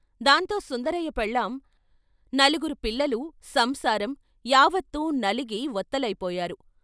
దాంతో సుందరయ్య పెళ్ళాం, నలుగురు పిల్ల లు సంసారం యావత్తూ నలిగి వత్తలైపోయారు.